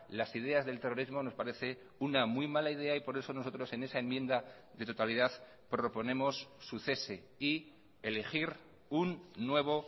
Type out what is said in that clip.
las ideas del terrorismo nos parece una muy mala idea y por eso nosotros en esa enmienda de totalidad proponemos su cese y elegir un nuevo